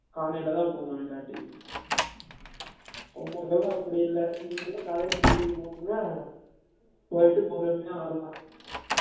காலைல தான் போனும் இல்லாட்டி, உங்கலுக்கு எல்லம் அப்டி இல்ல னீங்க எல்லம் காலைல gym க்கு போவிங்கல போய்ட்டு பொருமையா வரலாம்